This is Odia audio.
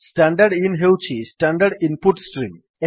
ଷ୍ଟଡିନ୍ ହେଉଛି ଷ୍ଟାଣ୍ଡାର୍ଡ୍ ଇନ୍ ପୁଟ୍ ଷ୍ଟ୍ରିମ୍